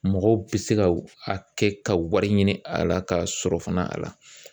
Mɔgɔw bɛ se ka a kɛ ka wari ɲini a la ka sɔrɔ fana a la